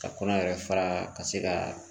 Ka kɔnɔ yɛrɛ fara ka se ka